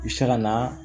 U se ka na